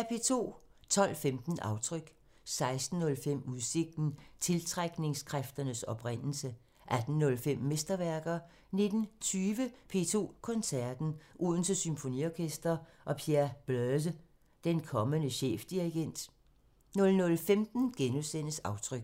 12:15: Aftryk 16:05: Udsigten – Tiltrækningskræftens oprindelse 18:05: Mesterværker 19:20: P2 Koncerten – Odense Symfoniorkester og Pierre Bleuse – den kommende chefdirigent 00:15: Aftryk *